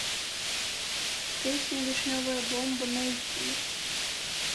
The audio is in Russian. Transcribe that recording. песня вишневая бомба найти